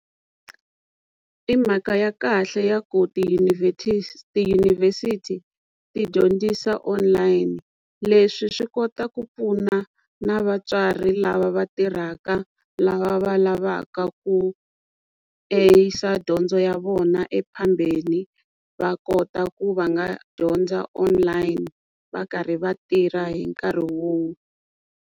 I mhaka ya kahle ya ku tiyunivhesiti ti dyondzisa online leswi swi kota ku pfuna na vatswari lava va tirhaka lava va lavaka ku a yisa dyondzo ya vona e phambeni va kota ku va nga dyondza online va karhi va tirha hi nkarhi wo.